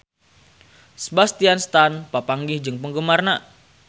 Sebastian Stan papanggih jeung penggemarna